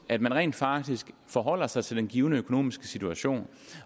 at man rent faktisk forholder sig til den givne økonomiske situation